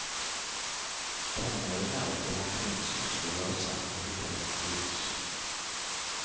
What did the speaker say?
Tonåringar drev omkring sysslolösa och hittade på bus.